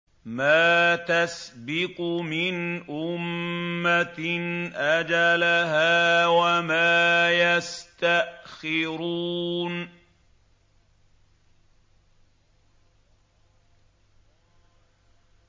مَّا تَسْبِقُ مِنْ أُمَّةٍ أَجَلَهَا وَمَا يَسْتَأْخِرُونَ